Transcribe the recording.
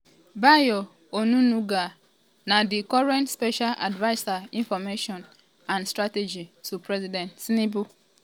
bayo onunuga um na di current special adviser information and um strategy to president tinubu.